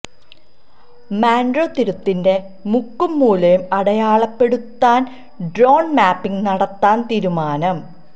Munroe തുരുത്തിന്റെ മുക്കും മൂലയും അടയാളപ്പെടുത്താന് ഡ്രോണ് മാപ്പിംഗ് നടത്താന് തീരുമാനം